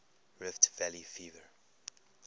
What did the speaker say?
rift valley fever